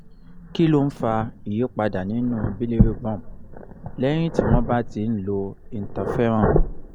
kí ló ń fa ìyípadà nínú bilirubin lẹ́yìn tí wọ́n bá ti ń lo interferon